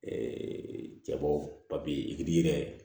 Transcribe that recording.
cɛbɔ papiye